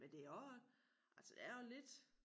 Men det også altså det er jo lidt